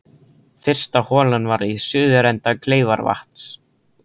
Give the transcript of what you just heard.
Fyrsta holan var við suðurenda Kleifarvatns.